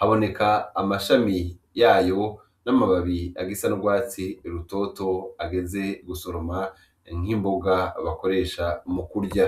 haboneka amashami yayo n'amababi agisa n'urwatsi rutoto ageze gusoroma nk'imboga bakoresha mu kurya.